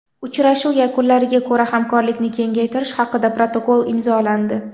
Uchrashuv yakunlariga ko‘ra hamkorlikni kengaytirish haqida protokol imzolandi.